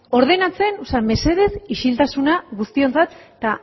ordenatzea o sea mesedez isiltasuna guztiontzat eta